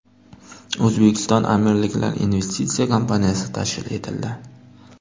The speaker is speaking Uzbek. O‘zbekistonAmirliklar investitsiya kompaniyasi tashkil etildi.